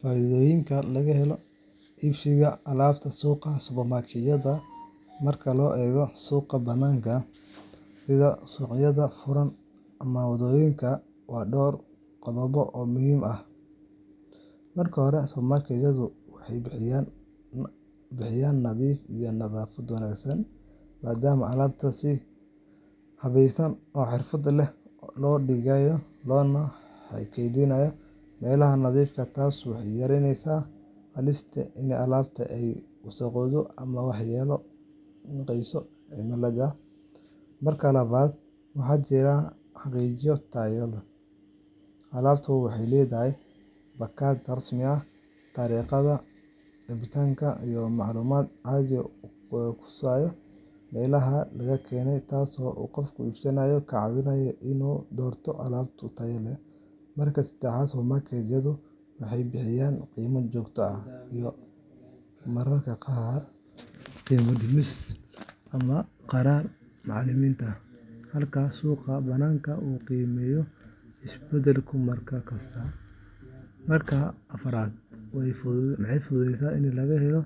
Faa’iidooyinka laga helo iibsiga alaabta suuqa supermarket-yada marka loo eego suuqa bannaanka sida suuqyada furan ama waddooyinka waa dhowr qodob oo muhiim ah:Marka hore, supermarket-yadu waxay bixiyaan nadiif iyo nadaafad wanaagsan, maadaama alaabta si habaysan oo xirfad leh loo dhigayo, loona kaydiyo meelaha nadiifka ah. Taasi waxay yaraynaysaa halista ah in alaabta ay wasakhoobaan ama waxyeello u geysto cimilada. Marka labaad, waxaa jira xaqiijin tayo; alaabtu waxay leedahay baakad rasmi ah, taariikhaha dhicitaanka, iyo macluumaad cad oo kusaabsan meesha laga keenay, taas oo qofka iibsada ka caawinaysa in uu doorto alaab tayo leh. Marka saddexaad, supermarket-yadu waxay bixiyaan qiime joogto ah iyo mararka qaar qiimo dhimis rasmi ah, iyadoo lagu iibsado barnaamijyo ama kaararka macaamiisha halka suuqa bannaanka uu qiimuhu isbedbedelo mar kasta. Marka afraad, waxay fududahay in laga helo